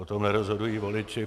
O tom nerozhodují voliči.